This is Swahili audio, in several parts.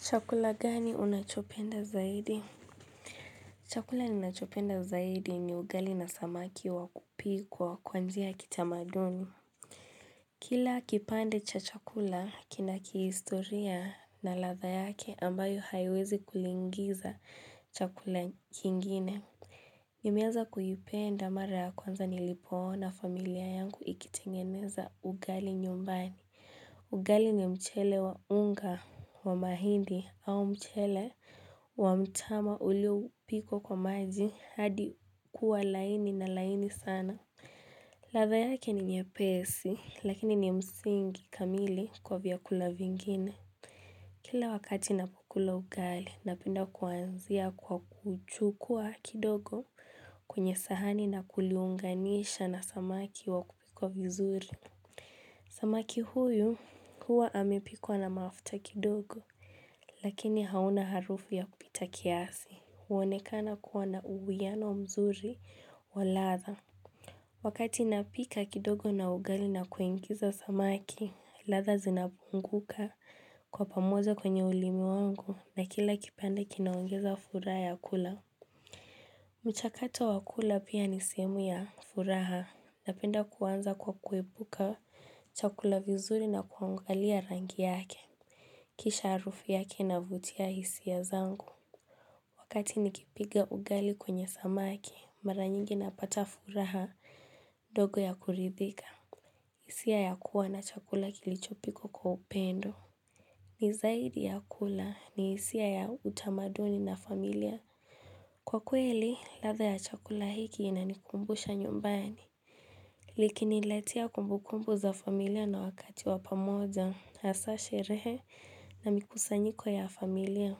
Chakula gani unachopenda zaidi? Chakula ninachopenda zaidi ni ugali na samaki wakupikwa kwa njia ya kitamaduni. Kila kipande cha chakula, kinaki historia na ladha yake ambayo haiwezi kulingiza chakula kingine. Nimeanza kuipenda mara ya kwanza nilipo ona familia yangu ikitengeneza ugali nyumbani. Ugali ni mchele wa unga wa mahindi au mchele wa mtama ulio upikwa kwa maji hadi kuwa laini na laini sana. Ladha yake ni nyepesi lakini ni msingi kamili kwa vyakula vingine. Kila wakati ninapokula ugali, napenda kuanzia kwa kuchukua kidogo kwenye sahani na kuliunganisha na samaki wa kupikwa vizuri. Samaki huyu huwa amepikwa na mafuta kidogo, lakini hauna harufu ya kupita kiasi, huonekana kuwa na uwiyano mzuri wa ladha. Wakati napika kidogo na ugali na kuingiza samaki, ladha zinabunguka kwa pamoja kwenye ulimi wangu na kila kipande kinaongeza furaha ya kula. Mchakato wakula pia ni sehemu ya furaha, ninapenda kuanza kwa kuipika chakula vizuri na kuangalia rangi yake, kisha harufu yake inavutia hisia zangu. Wakati nikipiga ugali kwenye samaki, mara nyingi napata furaha ndogo ya kuridhika. Hisia ya kuwa na chakula kilichopikwa kwa upendo. Nizaidi ya kula ni hisia ya utamaduni na familia. Kwa kweli, ladha ya chakula hiki inanikumbusha nyumbani. Likinilatea kumbukumbu za familia na wakati wapamoja, hasasherehe na mikusanyiko ya familia.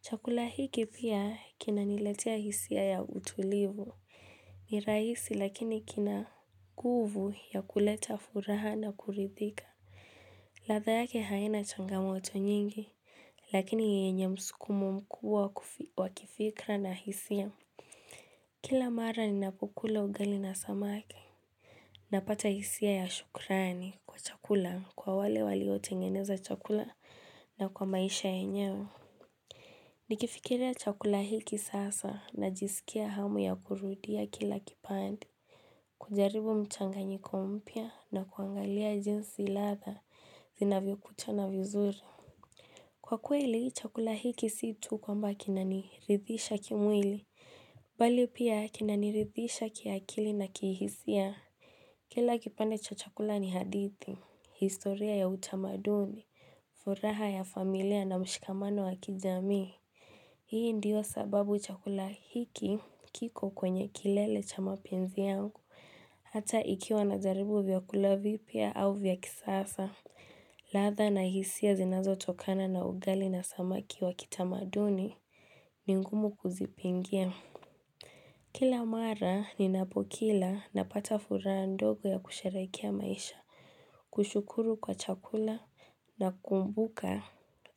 Chakula hiki pia kina niletea hisia ya utulivu. Ni rahisi lakini kina nguvu ya kuleta furaha na kuridhika. Ladha yake haina changamoto nyingi lakini yenye msukumo mkubwa wakifikra na hisia. Kila mara ni napokula ugali na samaki Ninapata hisia ya shukrani kwa chakula kwa wale walio tengeneza chakula na kwa maisha yenyewe. Nikifikiria chakula hiki sasa na jisikia hamu ya kurudia kila kipande. Kujaribu mchanganyiko mpya na kuangalia jinsi ladha zinavyo kuchana vizuri. Kwa kweli chakula hiki siyo tu kwamba kinaniridhisha kimwili. Bali pia kinaniridhisha kiakili na kihisia. Kila kipande cha chakula ni hadithi. Historia ya utamaduni. Furaha ya familia na mshikamano wa kijamii. Hii ndiyo sababu chakula hiki kiko kwenye kilele cha mapenzi yangu, hata ikiwa najaribu vyakula vipya au vyakisasa. Ladha na hisia zinazo tokana na ugali na samaki wa kitamaduni ni ngumu kuzipingia. Kila mara ni napokila na pata furaha ndogo ya kusherehekea maisha, kushukuru kwa chakula na kumbuka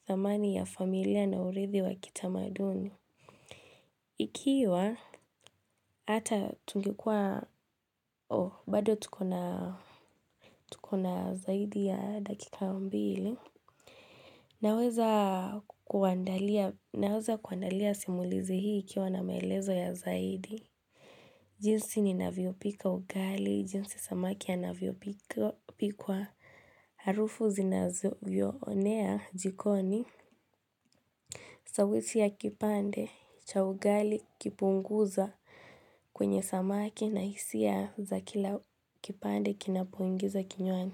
thaamani ya familia na urithi wa kitamaduni. Ikiwa, bado tukona zaidi ya dakika mbili, naweza kuandalia simulizi hii ikiwa na maelezo ya zaidi. Jinsi ni navyopika ugali, jinsi samaki anavyopikwa harufu zinazo jionea jikoni. Sawisi ya kipande cha ugali kipunguza kwenye samaki na hisia za kila kipande kinapuingiza kinywani.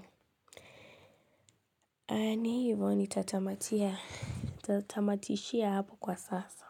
Ni, ivyo ni tatamatia. Nitatamatishia hapo kwa sasa.